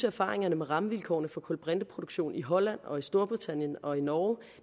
erfaringerne med rammevilkårene for kulbrinteproduktion i holland og i storbritannien og i norge